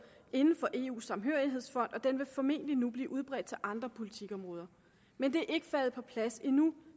inden for eus samhørighedsfond og den vil formentlig nu bliver udbredt til andre politikområder men det er ikke faldet på plads endnu